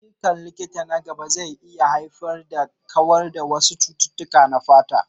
Ayyukan likita na gaba zai iya haifar da kawar da wasu cututtuka na fata.